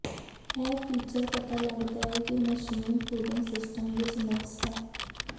ਇਹ ਫੀਚਰ ਪਤਾ ਲੱਗਦਾ ਹੈ ਕਿ ਮਸ਼ੀਨ ਕੂਲਿੰਗ ਸਿਸਟਮ ਵਿਚ ਨੁਕਸ ਹੈ